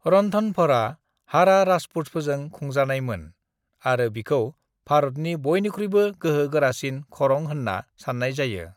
रणथंभौरआ हाड़ा राजपूतफोरजों खुंजानायमोन आरो बिखौ भारतनि बयनिख्रुइबो गोहो गारासिन खरं होन्ना सान्नाय जायो।